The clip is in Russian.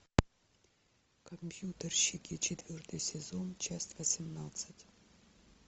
компьютерщики четвертый сезон часть восемнадцать